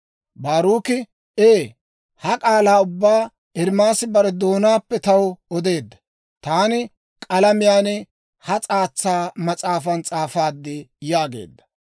Baaruki, «Ee, ha k'aalaa ubbaa Ermaasi bare doonaappe taw odeedda; taani k'alamiyaan ha s'aatsa mas'aafan s'aafaad» yaageedda.